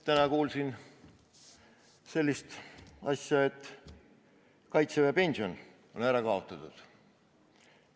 Täna kuulsin sellist asja, et kaitseväelase pension on ära kaotatud.